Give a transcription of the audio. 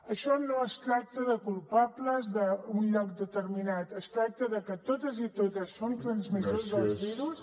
això no es tracta de culpables d’un lloc determinat es tracta de que totes i tots som transmissors del virus